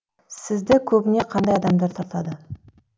сізді көбіне қандай адамдар тартады